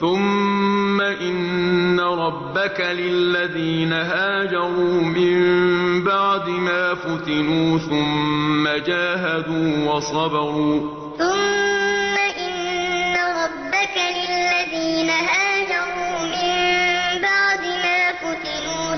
ثُمَّ إِنَّ رَبَّكَ لِلَّذِينَ هَاجَرُوا مِن بَعْدِ مَا فُتِنُوا ثُمَّ جَاهَدُوا وَصَبَرُوا إِنَّ رَبَّكَ مِن بَعْدِهَا لَغَفُورٌ رَّحِيمٌ ثُمَّ إِنَّ رَبَّكَ لِلَّذِينَ هَاجَرُوا مِن بَعْدِ مَا فُتِنُوا